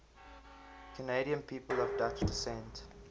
canadian people of dutch descent